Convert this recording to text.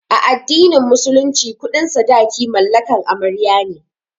A addinin musulunci kuɗin sadaki mallakan amarya ne